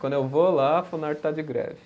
Quando eu vou lá, a Funarte está de greve.